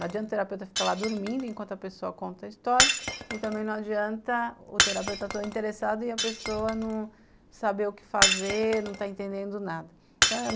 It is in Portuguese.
Não adianta o terapeuta ficar lá dormindo enquanto a pessoa conta a história e também não adianta o terapeuta todo interessado e a pessoa não saber o que fazer, não está entendendo nada.